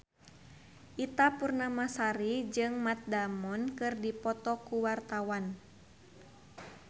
Ita Purnamasari jeung Matt Damon keur dipoto ku wartawan